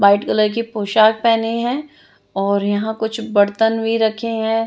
White colour कि पोशाक पहनी है और यहाँ कुछ बर्तन भी रखे हैं।